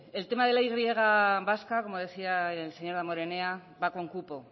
el tema de la y vasca como decía el señor damborenea va con cupo